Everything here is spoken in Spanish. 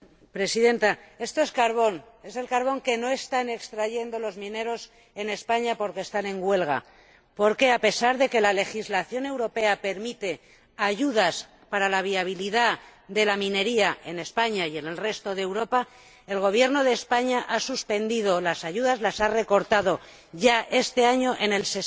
Señora Presidenta, esto es carbón, es el carbón que no están extrayendo los mineros en España porque están en huelga debido a que, a pesar de que la legislación europea permite ayudas para la viabilidad de la minería ―en España y en el resto de Europa―, el Gobierno de España ha suspendido las ayudas, las ha recortado ya este año en un